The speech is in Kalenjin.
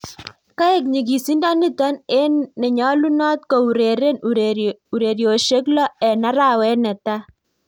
Kaek nyigisindo nitok eng nenyalunot koureren urerosiek loo eng arawet netai